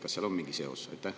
Kas seal on mingi seos?